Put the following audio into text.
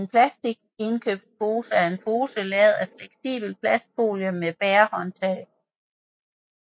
En plastindkøbspose er en pose lavet af fleksibel plastfolie med bærehåndtag